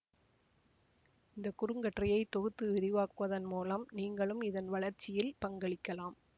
இந்த குறுங்கட்டுரையை தொகுத்து விரிவாக்குவதன் மூலம் நீங்களும் இதன் வளர்ச்சியில் பங்களிக்கலாம்